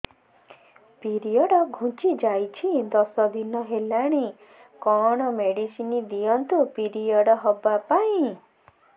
period ଘୁଞ୍ଚି ଯାଇଛି ଦଶ ଦିନ ହେଲାଣି କଅଣ ମେଡିସିନ ଦିଅନ୍ତୁ ପିରିଅଡ଼ ହଵା ପାଈଁ